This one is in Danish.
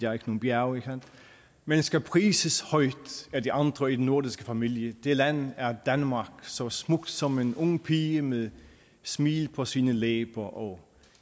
har nogen bjerge men skal prises højt af de andre i den nordiske familie det land er danmark så smukt som en ung pige med smil på sine læber og